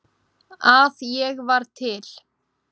að ég var til.